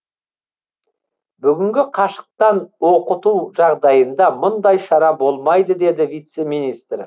бүгінгі қашықтан оқыту жағдайында мұндай шара болмайды деді вице министр